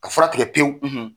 Ka fura tigɛ pewu